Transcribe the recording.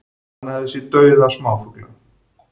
Hann hafi séð dauða smáfugla